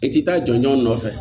I ti taa jɔjɔ nɔfɛ